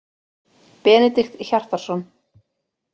Benedikt Hjartarson.